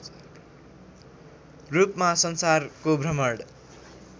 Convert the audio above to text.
रूपमा संसारको भ्रमण